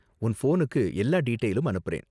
உன் ஃபோனுக்கு எல்லா டீடெயிலயும் அனுப்புறேன்.